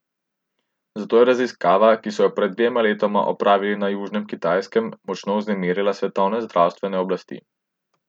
Zato je raziskava, ki so jo pred dvema letoma opravili na južnem Kitajskem, močno vznemirila svetovne zdravstvene oblasti.